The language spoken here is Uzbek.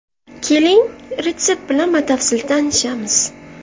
Keling, retsept bilan batafsil tanishamiz.